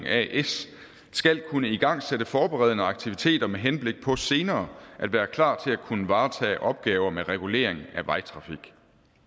as skal kunne igangsætte forberedende aktiviteter med henblik på senere at være klar til at kunne varetage opgaver med regulering af vejtrafik